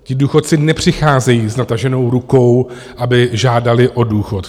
Ti důchodci nepřicházejí s nataženou rukou, aby žádali o důchod.